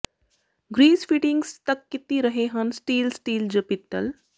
grease fittings ਤੱਕ ਕੀਤੀ ਰਹੇ ਹਨ ਸਟੀਲ ਸਟੀਲ ਜ ਪਿੱਤਲ